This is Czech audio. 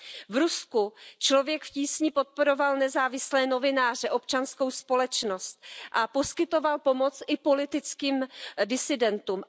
V Rusku organizace Člověk v tísni podporovala nezávislé novináře, občanskou společnost a poskytovala pomoc i politickým disidentům.